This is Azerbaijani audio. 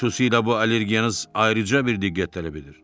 Xüsusilə bu allergiyanız ayrıca bir diqqət tələb edir.